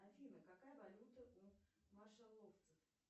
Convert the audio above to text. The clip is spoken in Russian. афина какая валюта у машеловцев